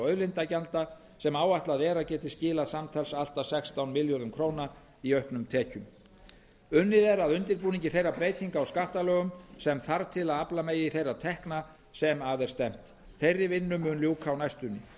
auðlindagjalda sem áætlað er að geti skilað samtals allt að sextán milljörðum króna í auknum tekjum unnið er að undirbúningi þeirra breytinga á skattalögum sem þarf til að afla megi þeirra tekna sem að er stefnt þeirri vinnu mun ljúka á næstunni